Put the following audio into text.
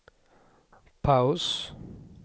paus